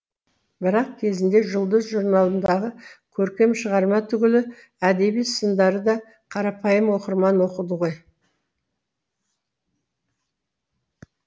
бірақ кезінде жұлдыз журналындағы көркем шығарма түгілі әдеби сындарды да қарапайым оқырман оқыды ғой